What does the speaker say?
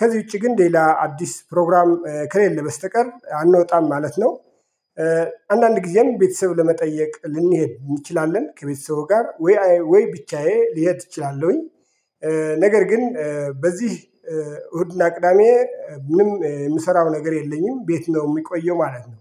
ከዚህ ውጪ ግን ሌላ አዲስ ፕሮግራም ከሌለ በስተቀር አንወጣም ማለት ነው። አንዳንድ ጊዜያም ቤተሰብ ለመጠየቅ ልንሄድ እንችላለን ከቤተሰቡ ጋር። ወይ ብቻዬ ልሄድ እችላለሁኝ። ነገር ግን በዚህ እሁድና ቅዳሜ። ምንም የምሰራው ነገር የለኝም ቤት ነው እምቆየው ማለት ነው።